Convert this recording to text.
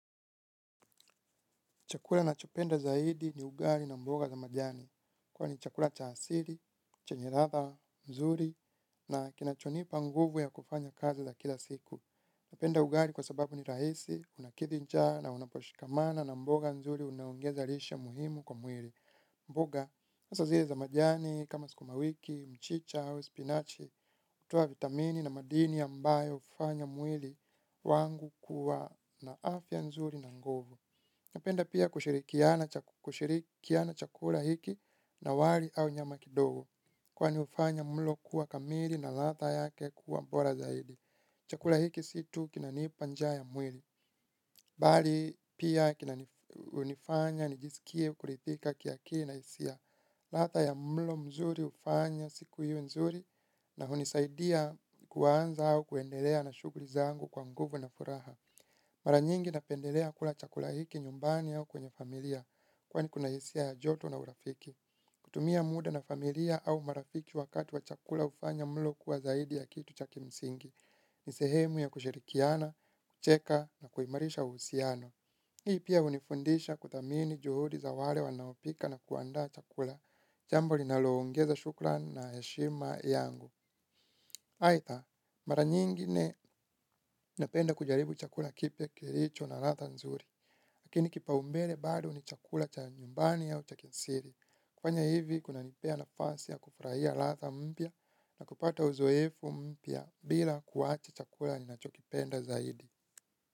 Chakula nachopenda zaidi ni ugali na mboga za majani. Kwa ni chakula cha asili, chenye latha, mzuri, na kinachonipa nguvu ya kufanya kazi za kila siku. Napenda ugali kwa sababu ni rahisi unakidhi njaa na unaposhikamana na mboga nzuri unaongeza lishe muhimu kwa mwili mboga, asa zile za majani, kama sukumawiki, mchicha, spinachi, hutoa vitamini na madini ambayo hufanya mwili wangu kuwa na afya nzuri na nguvu. Napenda pia kushirikiana chakula hiki na wali au nyama kidogo kwani ufanya mlo kuwa kamili na latha yake kuwa bora zaidi chakula hiki si tu kinanipa njaa ya mwili bali pia kina nifanya nijisikie kurithika kiakili na hisia latha ya mlo mzuri hufanya siku iwe nzuri na hunisaidia kuanza au kuendelea na shughuli zangu kwa nguvu na furaha mara nyingi napendelea kula chakula hiki nyumbani au kwenye familia kwani kuna hisia ya joto na urafiki. Kutumia muda na familia au marafiki wakati wa chakula ufanya mlo kuwa zaidi ya kitu cha kimsingi. Ni sehemu ya kushirikiana, kucheka na kuimarisha uhusiano hii pia unifundisha kuthamini juhudi za wale wanaopika na kuandaa chakula. Jambo linaloongeza shukran na heshima yangu. Haitha, mara nyingine napenda kujaribu chakula kipya kilicho na latha nzuri. Lakini kipaumbele bado ni chakula cha nyumbani au cha kiasili. Kufanya hivi, kuna nipea nafasi ya kufurahia latha mpya na kupata uzoefu mpya bila kuwacha chakula ninacho kipenda zaidi.